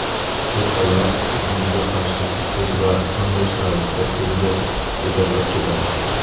Cho‘tkalar muzga qarshi kuchsiz va bunday sharoitda tezda yedirilib ketadi.